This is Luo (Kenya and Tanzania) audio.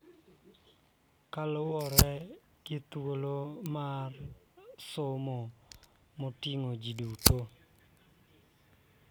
Kaluwore gi thuolo mar somo ma oting�o ji duto.